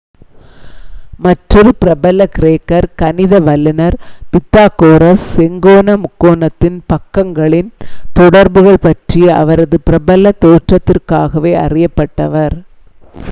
மற்றொரு பிரபல கிரேக்கர் கணித வல்லுனர் பித்தாகொரஸ் செங்கோண முக்கோணத்தின் பக்கங்களின் தொடர்புகள் பற்றிய அவரது பிரபல தேற்றத்திற்காகவே அறியப்பட்டவர்